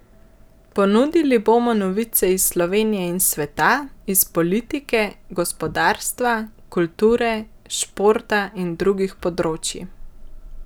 Ponudili bomo novice iz Slovenije in sveta, iz politike, gospodarstva, kulture, športa in drugih področij.